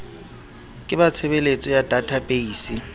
ke ba tshebeletso ya databeise